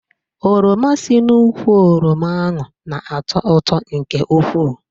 Oroma si n'úkwù oroma ahụ n'ato ụtọ nke ukwuu